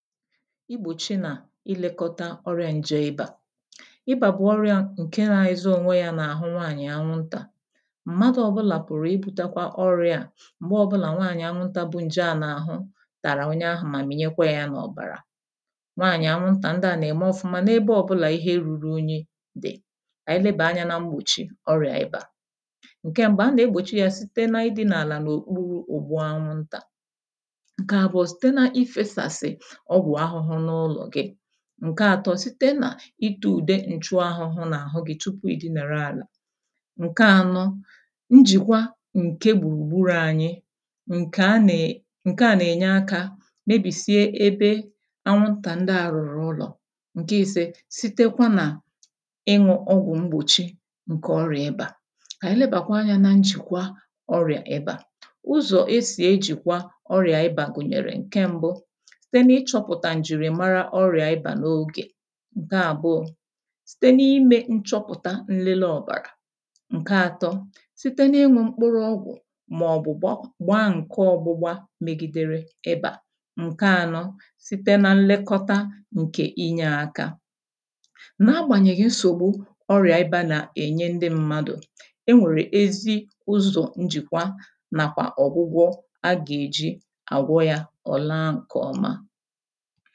igbochi nà ị́lèkọ́tà ọrịá ǹjè ị̀bà ị̀bà bụ̀ ọrịá ńkè nà-èzō ọ̀nwè yá n’àhụ́ ńwàànyị̀ anwụ́ntà. M̀madụ̀ ọ̀bụlà pụ̀rụ̀ ị̀bùtèkwá ọrịá à m̀gbè ọ̀bụ́là ńwàànyị̀ anwụ́ntà bu ńjè à n’àhụ́ tàrà onye ahụ́ mà mìnyèkwá yá n’ọ̀bàrà. Ńwàànyị̀ anwụ́ntà ndị à nà-ème ọ́fụ́mā n’èbé ọ́bụ́là ihe rụrụ únyí dị̀. Ànyị́ lèbàà ányà nà m̀gbùchí ọrịá ị̀bà. Ńkè m̀bụ́ a nà-ègbòchí yá site n’ị́dị́nà àlà n’ọ̀kpurụ̀ ụ̀gbụ́ anwụ́ntà. Ńkè àbụ́ọ́ site n’ịfèsasị̀ ọ̀gụ̀ àhụ́hụ́ n’ụlọ̀ gị́. Ńkè àtọ́ site n’ịtē ụ̀dè ǹchụ́ àhụ́hụ́ n’àhụ́ gị́ tupu ì dìnàrà àlà. Ńkè ánọ́ ǹjìkwà ńkè gbùrùgburū ányị́. Ńkè à nà-ènyè ákà mèbìsíè èbé anwụ́ntà ndị à rụ̀rụ̀ ụlọ̀. Ńkè ísé sitekwa n’ị́ñụ́ ọ̀gụ̀ m̀gbùchí ńkè ọrịá ị̀bà. Ànyị́ lèbàkwàà ányà n’ǹjìkwà ọrịá ị̀bà. Ụzọ̀ esì èjìkwà ọrịá ị̀bà gụnyere ńkè m̀bụ́ site n’ịchọ́-pụ̀tà ǹjìrìmàrà ọrịá ị̀bà n’ógè. Ńkè àbụ́ọ́ site n’ịmè ńchọ́pụ̀tà nlele ọ̀bàrà. Ńkè àtọ́ site n’ị́ñụ́ mkpụ́rụ́ ọ̀gụ̀ mà ọ̀ bụ̀ gbọọ gbaa ńkè ọ́gbụ́gbà mègidèrè ị̀bà. Ńkè ánọ́ site nà ńlèkọ́tà ńkè ị̀nyé ákà nà-àgbànyèghị̀ nsògbù ọrịá ị̀bà nà-ènyè ndị mmádụ̀. E nwèrè èzí ụzọ̀ ńjìkwà nàkwà ọ̀gwụgwọ̀ a gà-èjì àgwọ̀ yá. Ọ làà ńkè ọ́má.